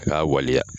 A k'a waleya